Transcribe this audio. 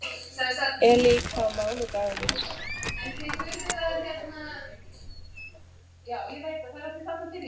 Elí, hvaða mánaðardagur er í dag?